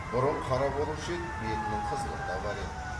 бұрын қара болушы еді бетінің қызылы да бар еді